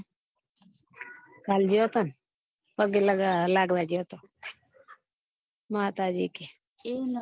કાલે ગયા હતા ને પગે લાગવા ગયા તા માતાજી ને